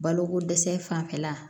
Balokodɛsɛ fanfɛla